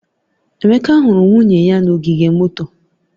Emeka huru nwunye ya n'ogige moto